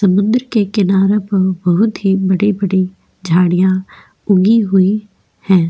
समुंदर के किनारों पर बहुत ही बड़ी बड़ी झाडिया उगी हुई है।